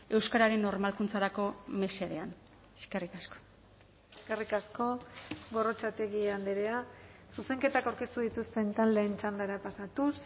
euskararen normalkuntzarako mesedean eskerrik asko eskerrik asko gorrotxategi andrea zuzenketak aurkeztu dituzten taldeen txandara pasatuz